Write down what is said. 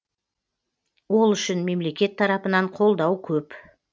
ол үшін мемлекет тарапынан қолдау көп